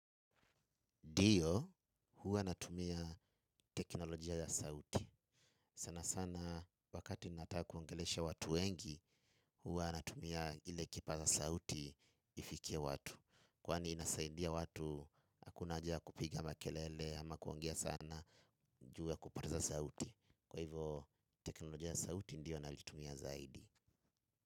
Ndio huwa natumia teknolojia ya sauti. Sana sana wakati nataka kuongelesha watu wengi huwa natumia ile kipaza sauti ifikie watu. Kwani inasaindia watu hakuna haja ya kupiga makelele ama kuongea sana juu ya kupoteza sauti. Kwa hivo teknolojia ya sauti ndio nalitumia zaidi.